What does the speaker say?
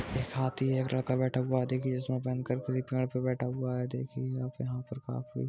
एक हाथी है। एक लड़का बैठा हुआ है। देखिेए जिसमे पेड़ पर बैठा हुआ है। देखिए यहाँ पर काफी --